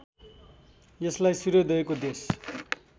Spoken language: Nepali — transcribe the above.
यसलाई सूर्योदयको देश